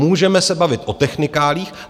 Můžeme se bavit o technikáliích.